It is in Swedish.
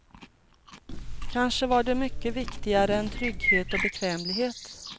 Kanske var det mycket viktigare än trygghet och bekvämlighet.